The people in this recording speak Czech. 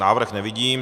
Návrh nevidím.